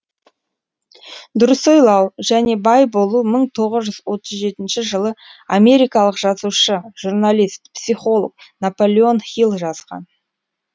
дұрыс ойлау және бай болу мың тоғыз жүз отыз жетінші жылы америкалық жазушы журналист психолог наполеон хилл жазған